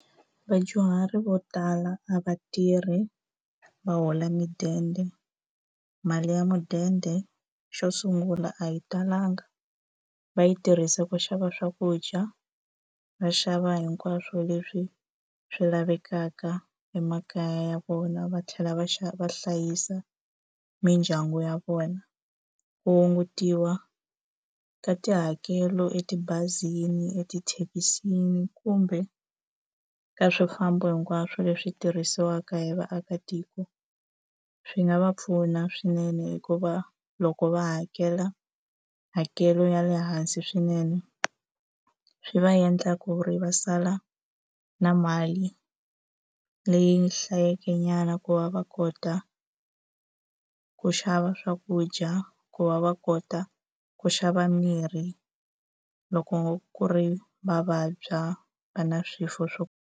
Vadyuhari vo tala a va tirhi va hola mudende. Mali ya mudende xo sungula a yi talanga. Va yi tirhisa ku xava swakudya va xava hinkwaswo leswi swi lavekaka emakaya ya vona, va tlhela va va hlayisa mindyangu ya vona. Ku hungutiwa ka tihakelo etibazini, etithekisini, kumbe ka swifambo hinkwaswo leswi tirhisiwaka hi vaakatiko, swi nga va pfuna swinene. Hikuva loko va hakela hakelo ya le hansi swinene, swi va endla ku ri va sala na mali leyi hlayekenyana ku va va kota ku xava swakudya, ku va va kota ku xava mirhi loko ku ri va vabya va na swifuwo swo.